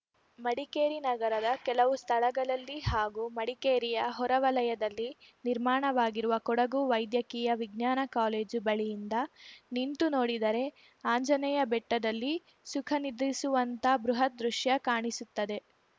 ಮಡಿಕೇರಿ ನಗರದ ಕೆಲವು ಸ್ಥಳಗಳಲ್ಲಿ ಹಾಗೂ ಮಡಿಕೇರಿಯ ಹೊರವಲಯದಲ್ಲಿ ನಿರ್ಮಾಣವಾಗಿರುವ ಕೊಡಗು ವೈದ್ಯಕೀಯ ವಿಜ್ಞಾನ ಕಾಲೇಜು ಬಳಿಯಿಂದ ನಿಂತು ನೋಡಿದರೆ ಆಂಜನೇಯ ಬೆಟ್ಟದಲ್ಲಿ ಸುಖ ನಿದ್ರಿಸುವಂಥಾ ಬೃಹತ್‌ ದೃಶ್ಯ ಕಾಣಿಸುತ್ತದೆ